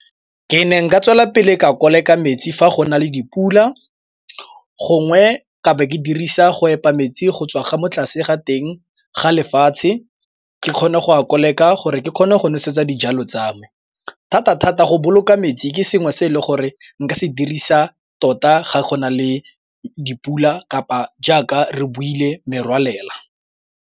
Ke ne nka tswelela pele ka koleka metsi fa go na le dipula, gongwe ka bo ke dirisa go epa metsi go tswa ga mo tlase ga teng ga lefatshe ke kgone go koleka gore ke kgone go nosetsa dijalo tsa me. Thata-thata go boloka metsi ke sengwe se e le gore nka se dirisa tota ga gona le dipula kapa jaaka re buile merwalela.